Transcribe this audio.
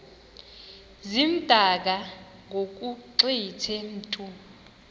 zimdaka ngokugqithe mntu